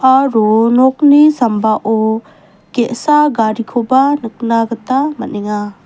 aro nokni sambao ge·sa garikoba nikna gita man·enga.